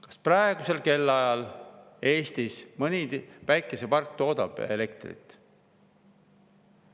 Kas praegusel kellaajal Eestis mõni päikesepark toodab elektrit?